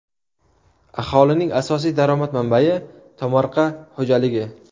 Aholining asosiy daromad manbai tomorqa xo‘jaligi.